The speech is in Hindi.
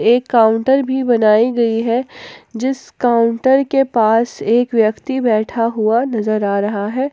एक काउंटर भी बनाई गई है जिस काउंटर के पास एक व्यक्ति बैठा हुआ नजर आ रहा है।